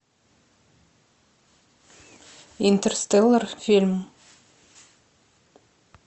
интерстеллар фильм